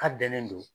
K'a bɛnnen don